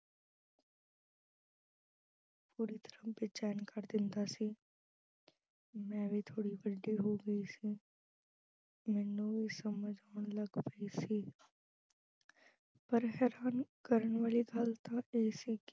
ਪੂਰੀ ਤਰ੍ਹਾਂ ਬੇਚੈਨ ਕਰ ਦਿੰਦਾ ਸੀ। ਮੈਂ ਵੀ ਥੋੜੀ ਵੱਡੀ ਹੋ ਗਈ ਸੀ ਮੈਨੂੰ ਵੀ ਸਮਝ ਆਉਣ ਲੱਗ ਪਈ ਸੀ ਪਰ ਹੈਰਾਨ ਕਰਨ ਵਾਲੀ ਗੱਲ ਤਾਂ ਇਹ ਸੀ ਕਿ